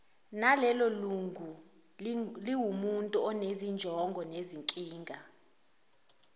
nalelolunguliwumuntu onezinjongo nezinkinga